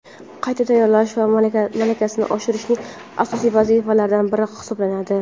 qayta tayyorlash va malakasini oshirishning asosiy vazifalaridan biri hisoblanadi.